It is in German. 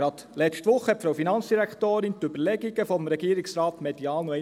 Gerade letzte Woche bekräftigte die Finanzdirektorin die Überlegungen nochmals medial.